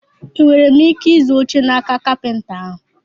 E nwere m ike ịzụ oche n'aka kapịnta ahụ?